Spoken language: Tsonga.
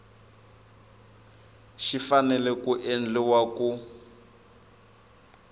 xi fanele ku endliwa ku